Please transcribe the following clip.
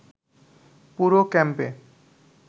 পুরো ক্যাম্পে